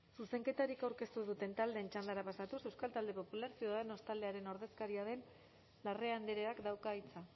zuzenketarik aurkeztu ez duten taldeen txandara pasatuz euskal talde popular ciudadanos taldearen ordezkaria den larrea andreak dauka hitza